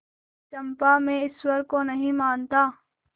चंपा मैं ईश्वर को नहीं मानता